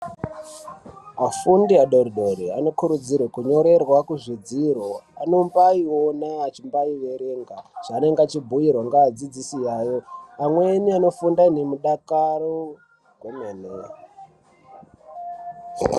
Vafundi vadoridori vanokurudzirwa kunyorerwa kuzvidziro anombaiona achimbaierenga zvaanenge achibhiirwa ngeadzidzisi ayo amweni anofunda nemudakaro kwemene.